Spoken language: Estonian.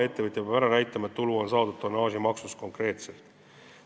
Ettevõtja peab ära näitama, et tulu on saadud konkreetselt tonnaažimaksust.